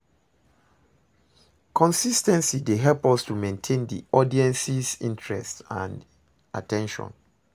consis ten cy dey help us to maintain di audience's interest and at ten tion.